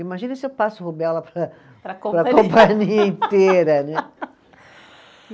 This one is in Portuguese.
Imagina se eu passo rubéola para, para a companhia inteira, né?